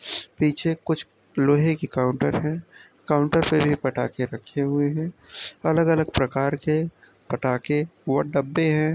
पीछे कुछ लोहे के काउंटर है काउंटर पे भी पटाखे रहे हुए है अलग अलग प्रकार के पटाखे और डब्बे है ।